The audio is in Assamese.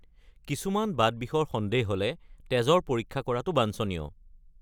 কিছুমান বাতবিষৰ সন্দেহ হ’লে তেজৰ পৰীক্ষা কৰাটো বাঞ্ছনীয়।